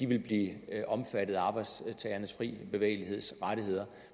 ville blive omfattet af arbejdstagernes frie bevægelighed